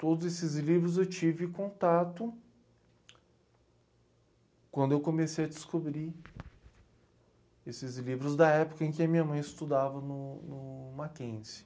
Todos esses livros eu tive contato quando eu comecei a descobrir esses livros da época em que a minha mãe estudava no no Mackenzie.